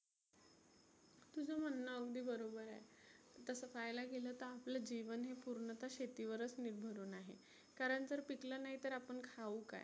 तुझ म्हणनं अगदी बरोबर आहे. तसं पहायला गेलं तर आपलं जिवन हे पुर्णतः शेतीवरच निर्भरुन आहे. कारण जर पिकलं नाही तर आपण खाऊ काय?